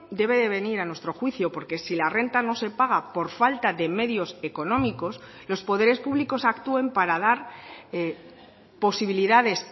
debe de venir a nuestro juicio porque si la renta no se paga por falta de medios económicos los poderes públicos actúen para dar posibilidades